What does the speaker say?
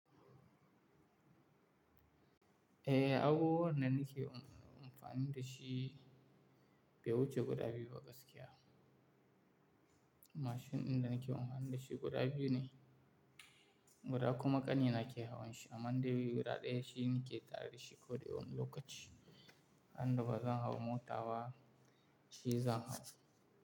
Eh, abubuwan da nake amfani da shi bai wuce guda biyu ba gaskiya. Mashin ɗin da nake amfani da shi guda biyu ne. Guda kuma ƙanina ke hawan shi, amma dai wuri ɗaya shi ni ke tare da shi koɗa wani lokaci. Randa ba zan hau mota ba, shi zan hau.